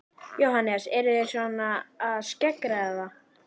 Jóhannes: Eruð þið svona að skeggræða það?